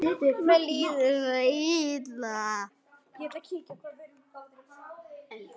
Mér líður svo illa